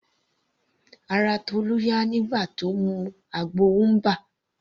Ara Tolu yá nígbà tí Ó mu àgbo ubwa.